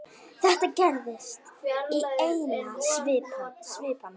Þetta gerðist í einni svipan.